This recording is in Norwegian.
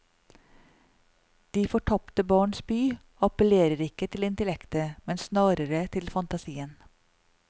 De fortapte barns by appellerer ikke til intellektet, men snarere til fantasien.